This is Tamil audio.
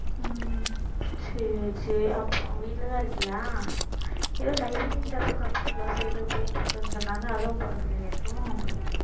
உம் சரி சரி அப்புறம் வீட்டிலேதான் இருக்கியா ஏதோ typewriting class, computer class ஏதோ போயிட்டு இருக்குன்னு சொன்னாங்க அதுவும் போறதில்லையா இப்போ